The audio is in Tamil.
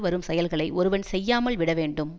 வரும் செயல்களை ஒருவன் செய்யாமல் விட வேண்டும்